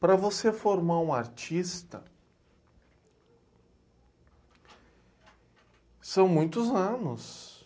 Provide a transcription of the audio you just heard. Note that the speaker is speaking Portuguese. Para você formar um artista, são muitos anos.